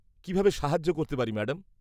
-কীভাবে সাহায্য করতে পারি ম্যাডাম?